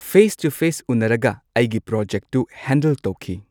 Face to face ꯎꯅꯔꯒ ꯑꯩꯒꯤ ꯄꯔꯣꯖꯦꯛꯇꯨ ꯍꯦꯟꯗꯜ ꯇꯧꯈꯤ꯫